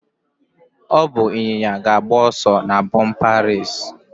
Ọ bụ ịnyịnya ga-agba ọsọ na bumper race.